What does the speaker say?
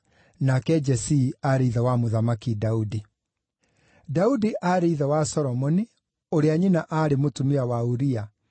nake Jesii aarĩ ithe wa Mũthamaki Daudi. Daudi aarĩ ithe wa Solomoni, ũrĩa nyina aarĩ mũtumia wa Uria,